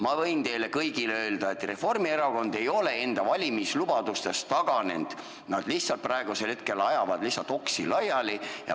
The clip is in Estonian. Ma võin teile kõigile öelda, et Reformierakond ei ole enda valimislubadustest taganenud, nad lihtsalt praegu ajavad oksi laiali.